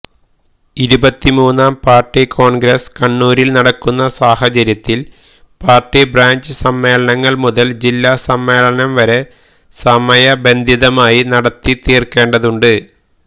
ഇരുപത്തിമൂന്നാം party congress കണ്ണൂരിൽ നടക്കുന്ന സാഹചര്യത്തിൽ പാർട്ടി ബ്രാഞ്ച് സമ്മേളനങ്ങൾ മുതൽ ജില്ലാസമ്മേളനം വരെ സമയബന്ധിതമായി നടത്തി തീർക്കേണ്ടതുണ്ട്